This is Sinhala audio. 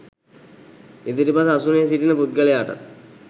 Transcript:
ඉදිරිපස අසුනේ සිටින පුද්ගලයාටත්